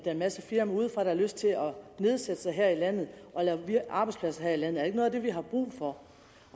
er masser af firmaer udefra der har lyst til at nedsætte sig her i landet og lave arbejdspladser her i landet er det ikke noget af det vi har brug for